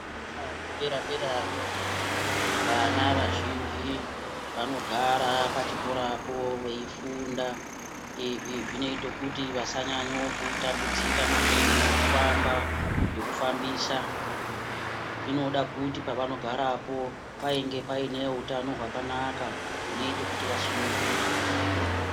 Zvikora zvedera-derayo vana vazhinji vanogara pachikorapo veifunda. Izvi zvinote kuti vasanyanya kutambudzika maningi ngekufamba, ngekufambisa zvinoda kuti pavanogarapo pange paine hutano hwakanaka hunoita kuti vasununguke.